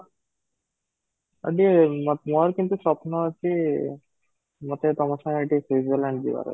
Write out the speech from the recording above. ଯଦି ମୋ ମୋର କିନ୍ତୁ ସ୍ବପ୍ନ ଅଛି ମୋତେ ତମୋ ସାଙ୍ଗରେ ଟିକେ switzerland ଯିବାର